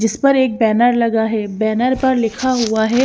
जिसपर एक बैनर लगा है बैनर पर लिखा हुआ है।